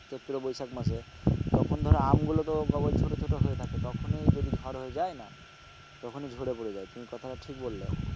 চৈত্র বৈশাখ মাসে তখন ধর আমগুলো তো কেবল ছোট ছোট হয়ে থাকে তখনই যদি ঝড় হয়ে যায় না তখনই ঝড়ে পড়ে যায়, তুমি কথাটা ঠিক বললে।